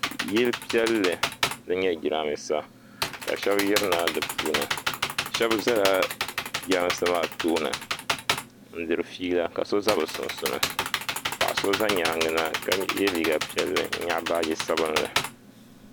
Yili piɛlli din nyɛ jirambiisa shɛba zala jirambiisa maa tooni n-diri fiila ka so za bɛ sunsuuni paɣa so za nyaaŋa na ka ye liiga piɛlli ka nyaɣi baaji sabinli.